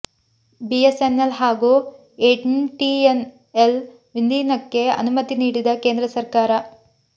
BS N L ಹಾಗೂ MTN L ವಿಲೀನಕ್ಕೆ ಅನುಮತಿ ನೀಡಿದ ಕೇಂದ್ರ ಸರ್ಕಾರ